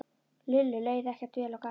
Lillu leið ekkert vel á gatinu.